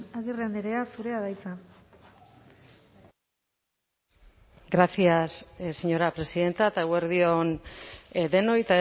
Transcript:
agirre andrea zurea da hitza gracias señora presidenta eta eguerdi on denoi